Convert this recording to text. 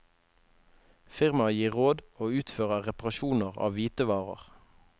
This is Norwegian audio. Firmaet gir råd og utfører reparasjoner av hvitevarer.